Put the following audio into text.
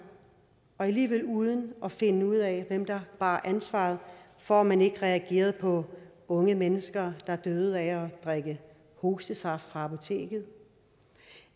og alligevel uden at finde ud af hvem der bar ansvaret for at man ikke reagerede på unge mennesker der døde af at drikke hostesaft fra apoteket